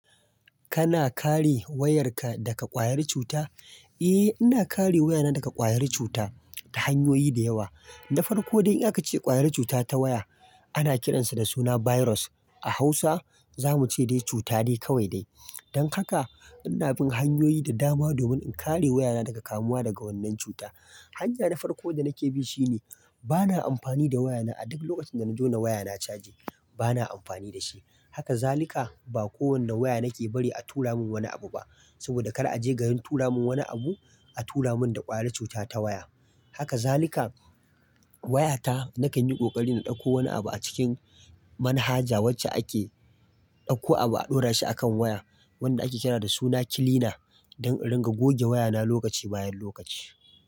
Kana kare wayarka daga ƙwayar cuta? Eh, ina kare wayana daga ƙwayar cuta ta hanyoyi da yawa. Na farko dai in aka ce ƙwayar cuta ta waya ana kiransa da suna "virus", a Hausa zamu ce dai cuta de kawai dai. Don haka ina bin hanyoyi da dama domin in kare wayana daga kamuwa daga wannan cuta. Hanya na farko da nake bi shi ne bana amfani da wayana a duk lokacin da nazo na waya na a caje bana amfani da shi. Haka zalika ba kowane waya nake bari a tura mun wani abu ba saboda kar aje garin tura mun wani abu a tura mun da ƙwayar cuta ta waya. Haka zalika waya ta nakan yi ƙoƙari na ɗauko wani abu a cikin manhaja wacce ake ɗauko abu a ɗora shi a kan waya wadda ake kira da suna "cleaner" don in ringa goge wayana lokaci bayan lokaci.